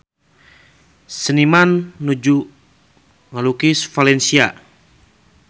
Seniman nuju ngalukis Valencia